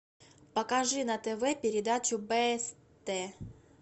покажи на тв передачу бст